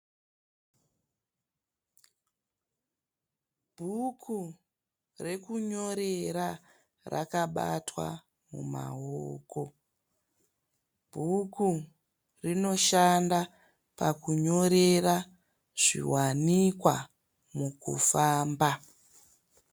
Bhuku rekunyorera rakabatwa mumaoko. Bhuku rinoshanda pakunyorera zviwanikwa mukufamba.